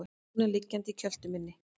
Lúna liggjandi í kjöltu minni.